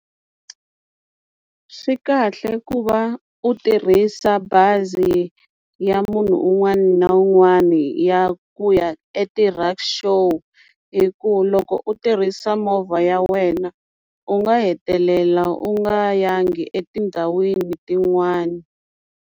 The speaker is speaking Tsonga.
Swi kahle ku va u tirhisa bazi ya munhu un'wani na un'wani ya ku ya eti-rikshaw hi ku loko u tirhisa movha ya wena u nga hetelela u nga yangi etindhawini tin'wana.